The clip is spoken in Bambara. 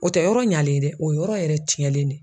O tɛ yɔrɔ ɲalen ye dɛ o ye yɔrɔ yɛrɛ ciyɛnlen de.